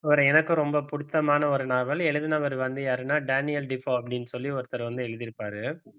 எனக்கும் ரொம்ப பிடித்தமான ஒரு நாவல் எழுதினவர் வந்து யாருன்னா டேனியல் டீபோ அப்படின்னு சொல்லி ஒருத்தர் வந்து எழுதி இருப்பாரு